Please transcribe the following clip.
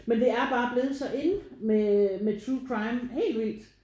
Men det er bare blevet så in med med true crime helt vildt